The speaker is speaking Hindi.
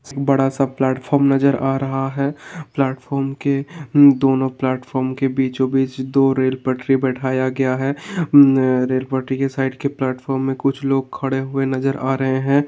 बड़ा सा प्लेटफोर्म नजर आ रहा है। प्लेटफोर्म के दोनों प्लेटफोर्म के बीचो-बीच दो रेल पटरी बैठाया गया है। मम्म रेल पटरी के साइड के प्लेटफार्म में कुछ लोग खड़े हुए नजर आ रहे हैं।